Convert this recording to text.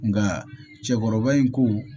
Nka cɛkɔrɔba in ko